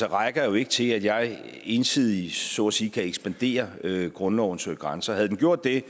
rækker jo ikke til at jeg ensidigt så at sige kan ekspandere grundlovens grænser havde vi gjort det